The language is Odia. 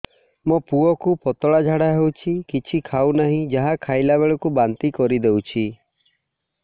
ମୋ ପୁଅ କୁ ପତଳା ଝାଡ଼ା ହେଉଛି କିଛି ଖାଉ ନାହିଁ ଯାହା ଖାଇଲାବେଳକୁ ବାନ୍ତି କରି ଦେଉଛି